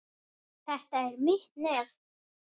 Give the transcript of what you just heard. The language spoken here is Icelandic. Þetta er mitt nef.